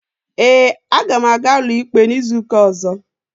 Ee, aga m aga ụlọikpe n'izuụka ọ̀zọ́.